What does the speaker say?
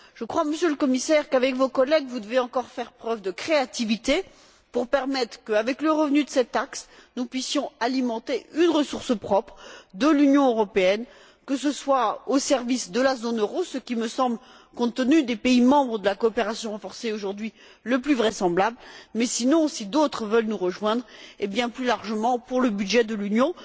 Je crois, Monsieur le Commissaire, qu'avec vos collègues, vous devez encore faire preuve de créativité pour permettre qu'avec le revenu de cette taxe, nous puissions alimenter une ressource propre de l'Union européenne, que ce soit au service de la zone euro, ce qui me semble, compte tenu des pays membres de la coopération renforcée aujourd'hui, le plus vraisemblable, mais sinon, si d'autres veulent nous rejoindre, eh bien plus largement pour le budget de l'Union.